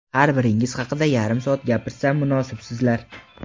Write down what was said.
har biringiz haqida yarim soat gapirsam, munosibsizlar.